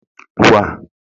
Wa